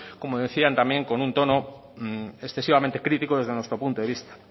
como decían también con un tono excesivamente crítico desde nuestro punto de vista